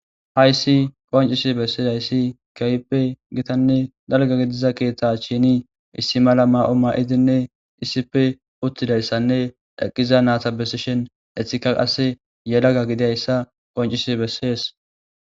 hayssi qoncisi bessidayssi keehippe gitanne dalga gidiza keeththe shini issi mala ma7o ma7idinne issife uttidayssanne eqqiza naata besishen ethika qasse yelaga gidayssa qoncisi bessees